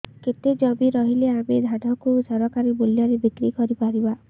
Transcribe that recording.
କେତେ ଜମି ରହିଲେ ଆମେ ଧାନ କୁ ସରକାରୀ ମୂଲ୍ଯରେ ବିକ୍ରି କରିପାରିବା